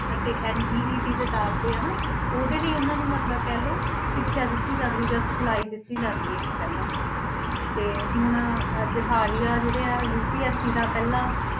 ਅਤੇ NEET ਦੇ ਦਾਖਲੇ ਆ ਨਾ, ਉਹਦੇ ਲਈ ਉਹਨਾਂ ਨੂੰ ਮਤਲਬ ਕਹਿ ਲਓ ਸਿੱਖਿਆ ਦਿੱਤੀ ਜਾਂਦੀ ਜਾਂ ਸਿਖਲਾਈ ਦਿੱਤੀ ਜਾਂਦੀ ਆ ਇੱਕ ਪਹਿਲਾਂ, ਤੇ ਹੁਣ ਅੱਜ ਹਾਲੀ ਆ ਜਿਹੜੇ ਆ UPSC ਦਾ ਪਹਿਲਾ